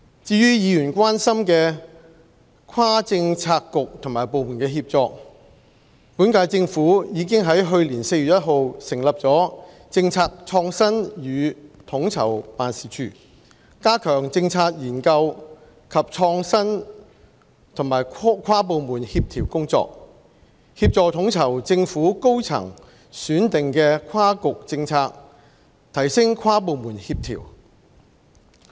至於議員關心的跨政策局和部門協作，本屆政府已於去年4月1日成立政策創新與統籌辦事處，加強政策研究及創新和跨部門協調工作，協助統籌政府高層選定的跨局政策，提升跨部門協調。